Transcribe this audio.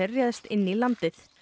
réðst inn í landið